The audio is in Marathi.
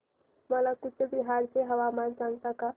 मला कूचबिहार चे हवामान सांगता का